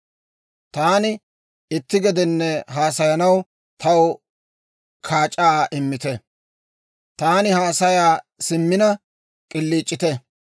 Taani itti gedenne haasayanaw taw kaac'aa immite. Taani haasaya simmina, k'iliic'ite!